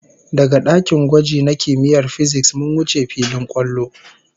Daga dakin gwaji na kimiyyar fisiks, mun wuce filin kwallo